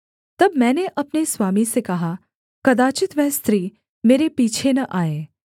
तब मैंने अपने स्वामी से कहा कदाचित् वह स्त्री मेरे पीछे न आए